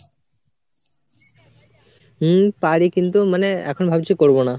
হম পারি কিন্তু মানে এখন ভাবছি করবো না